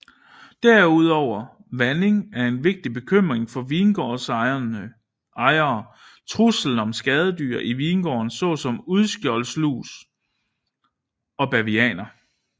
Udover vanding er en vigtig bekymring for vingårdsejere truslen om skadedyr i vingården såsom uldskjoldlus og bavianer